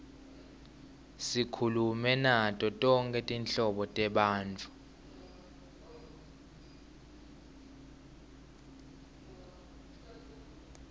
sikhulume nato tonkhe tinhlobo tebantfu